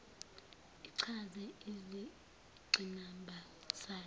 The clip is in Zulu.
ichaze izingqinamba zayo